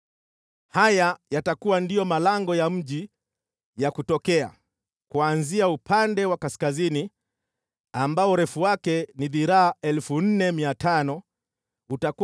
“Haya yatakuwa ndiyo malango ya mji ya kutokea: Kuanzia upande wa kaskazini, ambayo urefu wake ni dhiraa 4,500, utakuwa na malango matatu,